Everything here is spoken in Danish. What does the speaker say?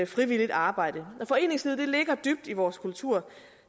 frivilligt arbejde foreningslivet ligger dybt i vores kultur